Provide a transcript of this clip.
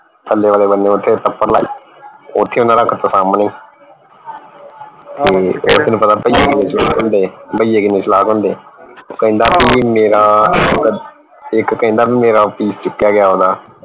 ਥੱਲੇ ਵਾਲੇ ਬੰਨੇ ਓਥੇ ਤੱਪੜ ਲਾਈ ਓਥੇ ਓਨਾ ਰੱਖ ਤਾ ਸਾਮਣੇ ਤੇ ਤੈਨੂੰ ਪਤਾ ਭਈਏ ਕਿੰਨੇ ਭਈਏ ਕਿੰਨੇ ਚਲਾਕ ਹੁੰਦੇ ਹੈ ਉਹ ਕਹਿੰਦਾ ਮੇਰਾ ਇਕ ਕਹਿੰਦਾ ਭਈ ਮੇਰਾ piece ਚੁੱਕਿਆ ਗਿਆ ਓਹਦਾ